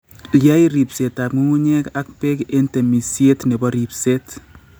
Yai ripsetab ng'ung'unyek ak beek en temisiet nebo ripset.